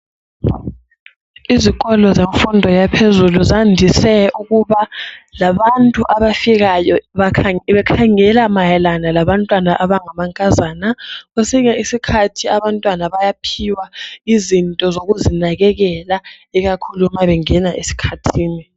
Izikolo zemfundo yaphezulu zandise ukubalabantu abafikayo bakhangela mayelana labantwana abangamankazana , kwesinye isikhathi abantwana bayaphiwa izinto zokuzinakakela ikakhulu ma bengena esikhathini